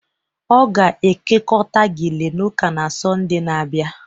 Ọ ga-ekekọta gele na ụka na Sọnde na-abịa